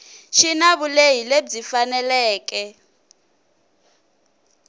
xi na vulehi lebyi faneleke